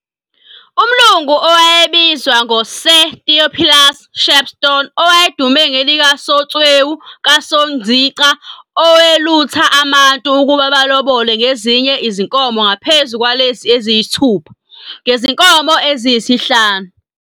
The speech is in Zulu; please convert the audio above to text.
Umlungu owayebizwa ngo Sir Theophilus Shepstone owayedume ngelika Somtsewu ka Sonzica owelutha amantu ukuba balobole ngezinye izinkomo ngaphezulu kwalezi eziyisithupha, ngezinkomo eziyisihlanu, 5.